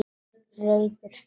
Rauður friður